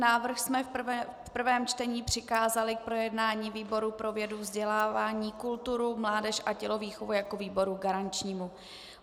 Návrh jsme v prvém čtení přikázali k projednání výboru pro vědu, vzdělání, kulturu, mládež a tělovýchovu jako výboru garančnímu.